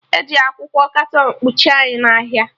Eji akwụkwọ katọn kpuchie anyị n'ahịa